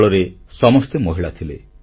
ଦଳରେ ସମସ୍ତେ ମହିଳା ଥିଲେ